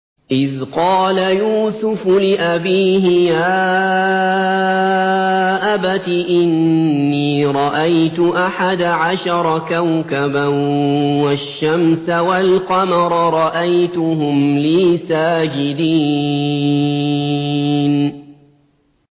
إِذْ قَالَ يُوسُفُ لِأَبِيهِ يَا أَبَتِ إِنِّي رَأَيْتُ أَحَدَ عَشَرَ كَوْكَبًا وَالشَّمْسَ وَالْقَمَرَ رَأَيْتُهُمْ لِي سَاجِدِينَ